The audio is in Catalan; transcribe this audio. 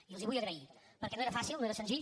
i els hi vull agrair perquè no era fàcil no era senzill